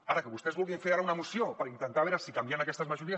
ara que vostès vulguin fer ara una moció per intentar veure si canviant aquestes majories